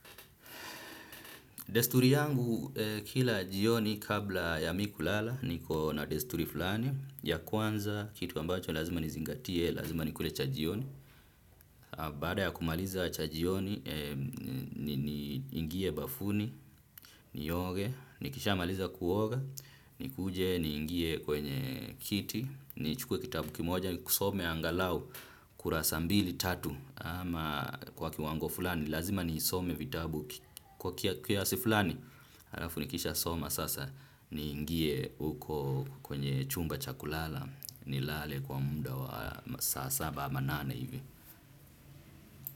Desturi yangu kila jioni kabla ya mi kulala niko na desturi fulani ya kwanza kitu ambacho lazima nizingatie lazima nikule cha jioni. Baada ya kumaliza cha jioni niingie bafuni nioge nikishamaliza kuoga nikuje niingie kwenye kiti nichukue kitabu kimoja nikisome angalau kurasa mbili tatu ama kwa kiwango fulani lazima niisome vitabu. Kwa kiasi fulani, halafu nikishasoma sasa niingie huko kwenye chumba cha kulala nilale kwa muda wa masaa saba ama nane hivi.